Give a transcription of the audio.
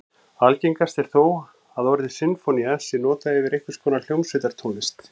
Algengast er þó að orðið sinfónía sé notað yfir einhvers konar hljómsveitartónlist.